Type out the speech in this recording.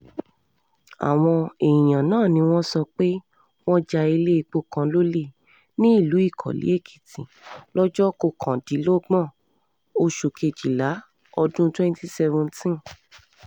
àwọn èèyàn náà ni wọ́n sọ pé wọ́n ja iléepo kan lólè nílùú ikọ́lé-èkìtì lọ́jọ́ kọkàndínlọ́gbọ̀n oṣù kejìlá ọdún twenty seventeen